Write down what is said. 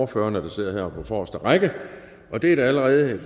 ordførerne der sidder heroppe på forreste række og det er der allerede et